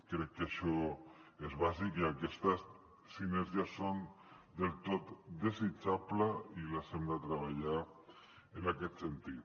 crec que això és bàsic i aquestes sinergies són del tot desitjables i les hem de treballar en aquest sentit